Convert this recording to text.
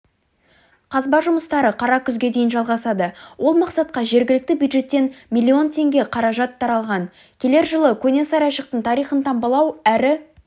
қазба жұмыстары қара күзге дейін жалғасады ол мақсатқа жергілікті бюджеттен миллион теңге қаражат қаралған келер жылы көне сарайшықтың тарихын таңбалау әрі